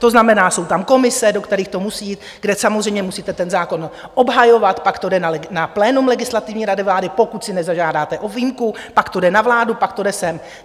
To znamená, jsou tam komise, do kterých to musí jít, kde samozřejmě musíte ten zákon obhajovat, pak to jde na plénum Legislativní rady vlády, pokud si nezažádáte o výjimku, pak to jde na vládu, pak to jde sem.